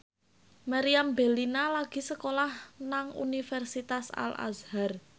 Meriam Bellina lagi sekolah nang Universitas Al Azhar